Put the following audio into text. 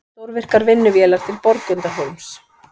Stórvirkar vinnuvélar til Borgundarhólms